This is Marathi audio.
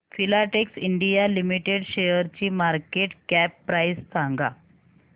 फिलाटेक्स इंडिया लिमिटेड शेअरची मार्केट कॅप प्राइस सांगा